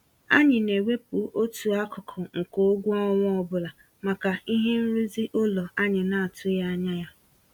Anyị na-ewepụ otu akụkụ nke ụgwọ ọnwa ọbụla maka ihe nrụzi ụlọ anyị n'atụghị anya ya.